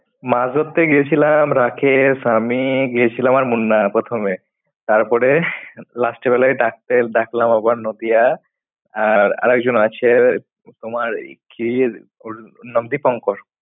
মাছ ধরতে গেছিলাম রাখেশ, আমি গেছিলাম আর মুন্না প্রথমে, তারপরে last এর বেলায় ডাকতে ডাকলাম আবার নদিয়া আর আরেক জন আছে তোমার কি ওর নাম দীপঙ্কর।